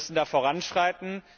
Wir müssen da voranschreiten.